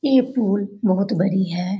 ये पूल बहुत बड़ी है।